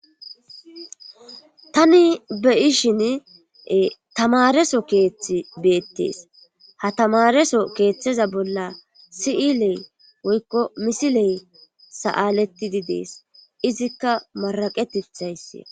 Tani be7ishin tamareso keeththi beettees ha tamareso keeththeza bolla si'ilee woykko misiley sa'aletidi dees izikka maraqetethayssi.